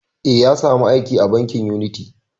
Eh, ya sa mu aiki a bankin uniti